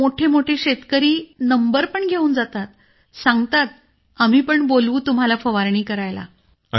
मोठे मोठे शेतकरी नंबरपण घेऊन जातात सांगतात आम्हीपण बोलवू तुम्हाला फवारणी करायला